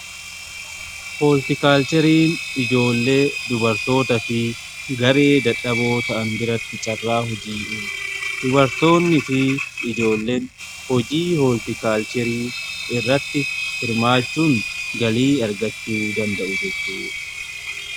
Hooltikaalchiriin ijoollee, dubartoota fi garee dadhaboo ta'an biratti carraa hojii dubartoonni fi ijoolleen hojii hooltikaalchirii irratti hirmaachuun galii argachuu danda'u jechuudha.